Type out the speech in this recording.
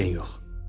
Qətiyyən yox.